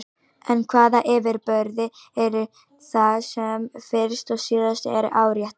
En hvaða yfirburðir eru það sem fyrst og síðast eru áréttaðir?